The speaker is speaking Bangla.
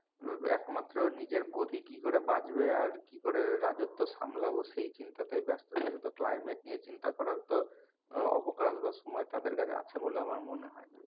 আহ একমাত্র নিজের গদি কি করে বাঁচবে আর কি করে রাজ্যত সামলাবো সেই চিন্তাতেই ব্যস্ত থাকে তো climate নিয়ে চিন্তা করার তো অবকাল বা সময় তাদের কাছে আছে বলে আমার মনে হয় না।